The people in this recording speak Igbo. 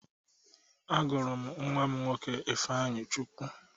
Agụrụ m nwa m nwoke Ifeanyịchukwu.